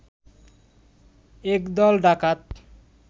এক দল ডাকাত